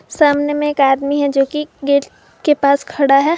सामने में एक आदमी है जो की गेट के पास खड़ा है।